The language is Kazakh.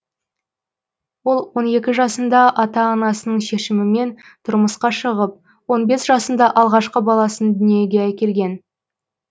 ол он екі жасында ата анасының шешімімен тұрмысқа шығып он бес жасында алғашқы баласын дүниеге әкелген